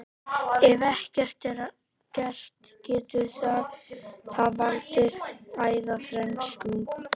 Ef ekkert er að gert getur það valdið æðaþrengslum.